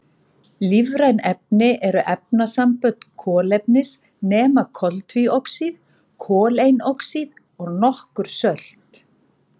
Lífræn efni eru efnasambönd kolefnis nema koltvíoxíð, koleinoxíð og nokkur sölt.